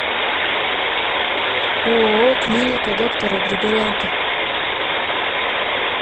ооо клиника доктора григоренко